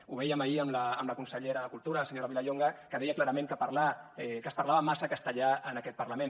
ho vèiem ahir amb la consellera de cultura la senyora vilallonga que deia clarament que es parlava massa castellà en aquest parlament